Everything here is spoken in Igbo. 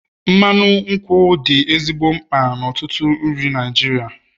mmanụ nkwụ dị ezigbo mkpa n'ọtụtụ nri Naijiria